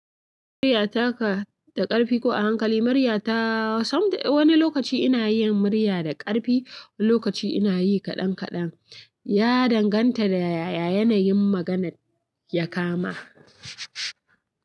Muryata ka da ƙarfi ko a hankali? Muryata wani lokaci ina yin murya da ƙarfi wani lokaci ina yi kaɗan kaɗan. Ya danganta da yaya yanayin maganar ya kama.